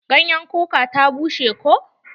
Ganyen kuka ta bushe ko.